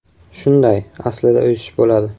- Shunday, aslida o‘sish bo‘ladi.